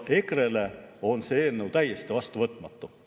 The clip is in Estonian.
EKRE-le on see eelnõu täiesti vastuvõtmatu.